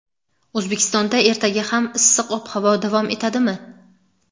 O‘zbekistonda ertaga ham issiq ob-havo davom etadimi?.